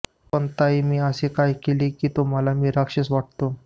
पण ताई मी असे काय केले की तुम्हाला मी राक्षस वाटतो